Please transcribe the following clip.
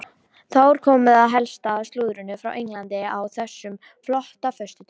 Þá er komið að helsta slúðrinu frá Englandi á þessum flotta föstudegi.